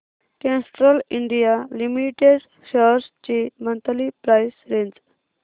Castrol India limited shares ची monthly price range